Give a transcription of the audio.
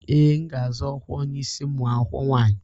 Ee, m ga-azọ ọkwa onye isi ụmụ akwụkwọ nwanyị